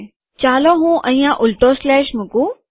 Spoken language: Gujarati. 001716016 001724 ચાલો હું અહીંયા ઉલટો સ્લેશ મુકું